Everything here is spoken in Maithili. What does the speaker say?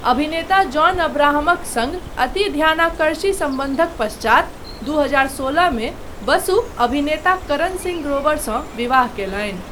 अभिनेता जॉन अब्राहमक सङ्ग अति ध्यानाकर्षी सम्बन्धक पश्चात, दू हजार सोलहमे बसु अभिनेता करण सिंह ग्रोवरसँ विवाह कयलनि।